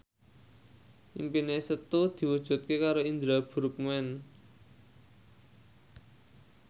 impine Setu diwujudke karo Indra Bruggman